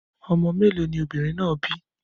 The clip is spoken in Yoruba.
Ọmọ mẹ́lọ̀ ni obìnrin náà bí?